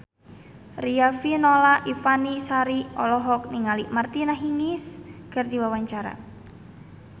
Riafinola Ifani Sari olohok ningali Martina Hingis keur diwawancara